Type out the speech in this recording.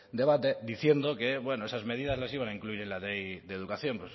debate diciendo que bueno que esas medidas las iban a incluir en la ley de educación